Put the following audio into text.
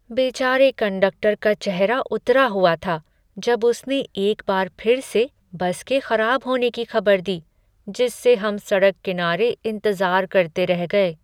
बेचारे कंडक्टर का चेहरा उतरा हुआ था जब उसने एक बार फिर से बस के खराब होने की खबर दी, जिससे हम सड़क किनारे इंतजार करते रह गए।